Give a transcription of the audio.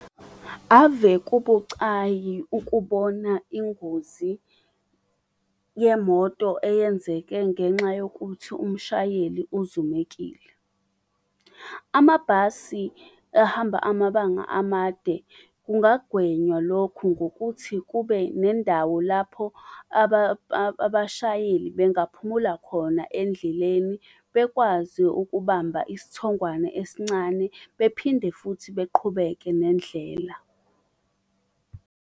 Ave kubucayi ukubona ingozi yemoto eyenzeke ngenxa yokuthi umshayeli uzumekile. Amabhasi ahamba amabanga amade kungagwenywa lokhu ngokuthi kube nendawo lapho abashayeli bengaphumula khona endleleni. Bekwazi ukubamba isithongwane esincane bephinde futhi beqhubeke nendlela.